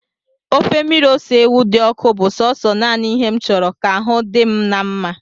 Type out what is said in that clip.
Ofe mmiri ose ewu di oku bu so nana ihe nchuru ka ahu di'm nma